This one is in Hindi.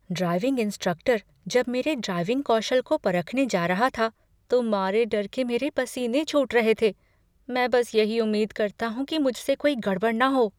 ड्राइविंग इंस्ट्रक्टर जब मेरे ड्राइविंग कौशल को परखने जा रहा था तो मारे डर के मेरे पसीने छूट रहे थे। मैं बस यही उम्मीद करता हूँ कि मुझसे कोई गड़बड़ न हो।